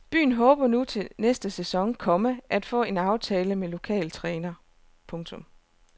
Byen håber nu til næste sæson , komma at få aftale med en lokal træner. punktum